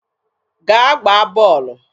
Gaa gbaa bọọlụ!